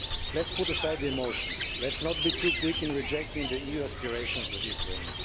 Let us put aside the emotions, let us not be too quick in rejecting the EU aspirations of the Ukraine.